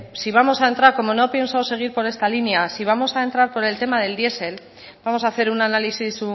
si vamos a entrar como no pienso seguir con esta línea si vamos a entrar con el tema del diesel vamos a hacer un análisis